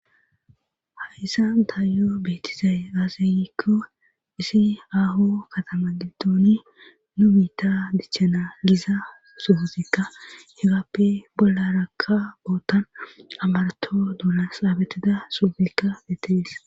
hayssan taayo beetizay aaseyikko isi aho katama gindooni nu biitta dichchana giza suuzikka hegappe bolla rakka boottan amarato duula saabetida suufikka beetees